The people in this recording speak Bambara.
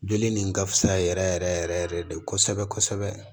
Joli nin ka fisa yɛrɛ yɛrɛ yɛrɛ de kosɛbɛ kosɛbɛ